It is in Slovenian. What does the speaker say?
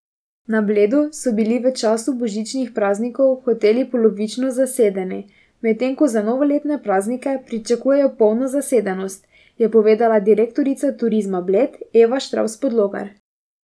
Na Bledu so bili v času božičnih praznikov hoteli polovično zasedeni, medtem ko za novoletne praznike pričakujejo polno zasedenost, je povedala direktorica Turizma Bled Eva Štravs Podlogar.